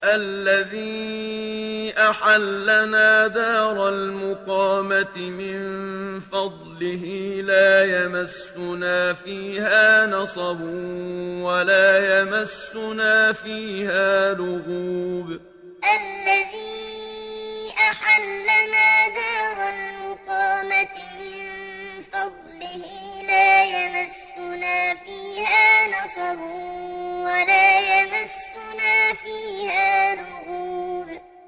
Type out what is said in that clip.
الَّذِي أَحَلَّنَا دَارَ الْمُقَامَةِ مِن فَضْلِهِ لَا يَمَسُّنَا فِيهَا نَصَبٌ وَلَا يَمَسُّنَا فِيهَا لُغُوبٌ الَّذِي أَحَلَّنَا دَارَ الْمُقَامَةِ مِن فَضْلِهِ لَا يَمَسُّنَا فِيهَا نَصَبٌ وَلَا يَمَسُّنَا فِيهَا لُغُوبٌ